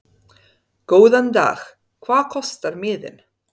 Góðan dag. Hvað kostar miðinn?